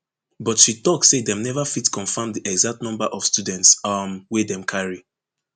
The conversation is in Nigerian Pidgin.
but she tok say dem neva fit confirm di exact number of students um wey dem carry